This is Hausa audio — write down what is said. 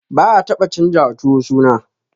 Ba'a taba canjawa tuwo suna.